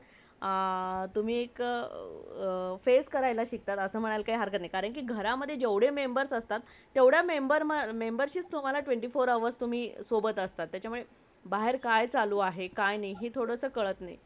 अ तुम्ही एका face करायला शिकतात असे म्हणाला काही हरक्त नाही कारण घरातला जेवडे members असतात तेवडे member , membership twenty four hours तुम्हाला सोबत असतात त्याचामुळे बाहेर काय चालू आहे काय नाही हे थोडासा तुम्हाला काळात नाही